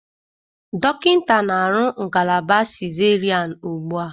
Dọkịta na-arụ ngalaba cesarean ugbu a